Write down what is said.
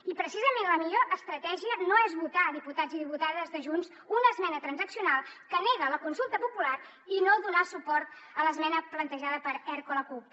i precisament la millor estratègia no és votar diputats i diputades de junts una esmena transaccional que nega la consulta popular i no donar suport a l’esmena plantejada per erc o la cup